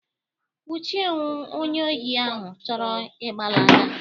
Nwuchie onye ohi ahụ chọrọ ịgbalaga.!